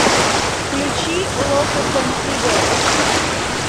включи локо контиго